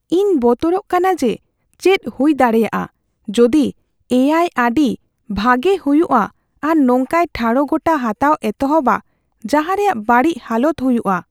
ᱤᱧ ᱵᱚᱛᱚᱨᱚᱜ ᱠᱟᱱᱟ ᱡᱮ ᱪᱮᱫ ᱦᱩᱭ ᱫᱟᱲᱮᱭᱟᱜᱼᱟ ᱡᱩᱫᱤ ᱮ ᱟᱭ ᱟᱹᱰᱤ ᱵᱷᱟᱜᱮ ᱦᱩᱭᱩᱜᱼᱟ ᱟᱨ ᱱᱚᱝᱠᱟᱭ ᱴᱷᱟᱲᱚᱜᱚᱴᱟ ᱦᱟᱛᱟᱣᱮ ᱮᱛᱚᱦᱚᱵᱼᱟ ᱡᱟᱦᱟ ᱨᱮᱭᱟᱜ ᱵᱟᱹᱲᱤᱡ ᱦᱟᱞᱚᱛ ᱦᱩᱭᱩᱜᱼᱟ ᱾